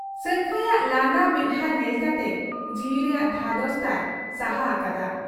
ᱥᱟᱹᱝᱠᱷᱟᱹᱭᱟᱜ ᱞᱟᱸᱫᱟ ᱢᱮᱫᱦᱟᱸ ᱧᱮᱞ ᱠᱟᱛᱮ ᱡᱤᱣᱤ ᱨᱮᱭᱟᱜ ᱫᱷᱟᱫᱚᱥ ᱛᱟᱭ ᱥᱟᱦᱟ ᱟᱠᱟᱫᱟ ᱾